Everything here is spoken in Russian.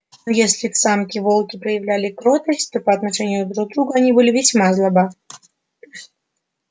но если к самке волки проявляли кротость то по отношению друг к другу они были сама злоба